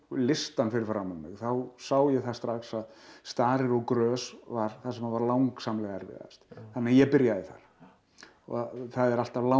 listann fyrir framan mig þá sá ég það strax að starir og grös var það sem var langsamlega erfiðast þannig að ég byrjaði þar það er alltaf